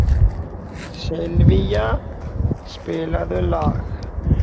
Sylvía, spilaðu lag.